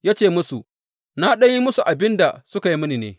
Ya ce musu, Na ɗan yi musu abin da suka yi mini ne.